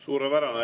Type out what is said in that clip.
Suurepärane.